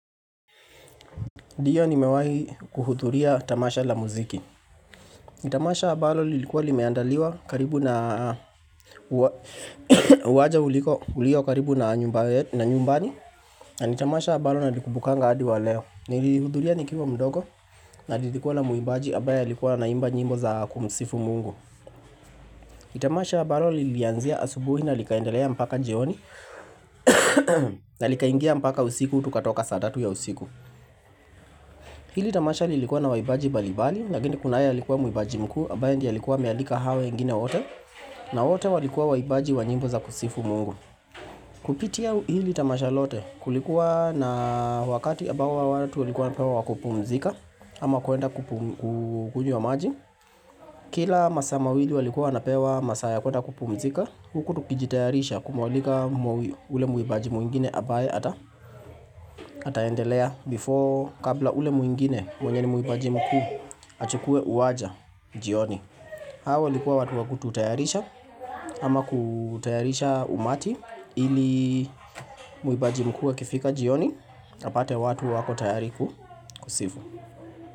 Ndiyo nimewahi kuhudhuria tamasha la muziki Tamasha ambalo lilikuwa limeandaliwa karibu na uwanja uliko ulio karibu na nyumbani na ni tamasha ambalo na likumbukanga hadi wa leo Nilihudhuria nikiwa mdogo na lilikuwa na mwimbaji ambaye alikuwa anaimba nyimbo za kumsifu mungu Nitamasha ambalo lilianzia asubuhi na likaendelea mpaka jioni na likaingia mpaka usiku tukatoka saa tatu ya usiku Hili tamasha lilikuwa na waimbaji mbalimbali, lakini kunaye alikuwa mwimbaji mkuu, ambaye ndiye alikuwa amealika hao wengine wote, na wote walikuwa waimbaji wa nyimbo za kusifu mungu. Kupitia hili tamasha lote kulikuwa na wakati ambao watu walikuwa wanapewa wakupumzika, ama kuenda kukunywa maji. Kila masaa mawili walikuwa wanapewa masaa ya kuenda kupumzika, huku tukijitayarisha kumwalika ule mwimbaji mwingine ambaye ataendelea before kabla ule mwimbaji mkuu achukue uwanja jioni. Hao walikuwa watu wakututayarisha ama kutayarisha umati ili mwimbaji mkuu akifika jioni apate watu wako tayari kusifu.